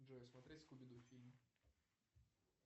джой смотреть скуби ду фильм